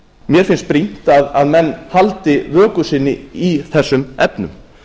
mér finnst brýnt að menn haldi vöku sinni í þessum efnum